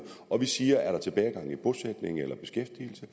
og vi siger er der tilbagegang i bosætning eller i beskæftigelse